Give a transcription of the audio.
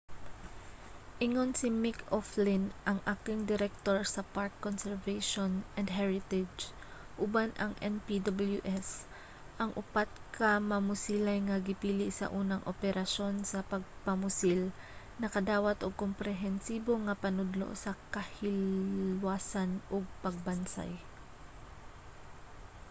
ingon si mick o'flynn ang acting director sa park conservation and heritage uban ang npws ang upat ka mamusilay nga gipili sa unang operasyon sa pagpamusil nakadawat og komprehensibo nga panudlo sa kahilwasan ug pagbansay